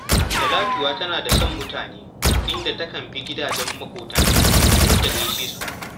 Talatuwa tana da son mutane, inda take bin gidajen maƙotanta domin ta gaishe su